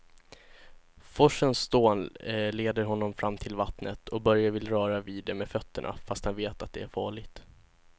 Forsens dån leder honom fram till vattnet och Börje vill röra vid det med fötterna, fast han vet att det är farligt.